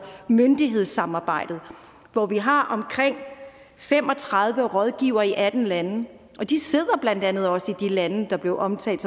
myndighedssamarbejdet hvor vi har omkring fem og tredive rådgivere i atten lande de sidder blandt andet også i de lande der blev omtalt